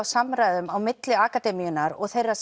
samræðum milli akademíunnar og þeirra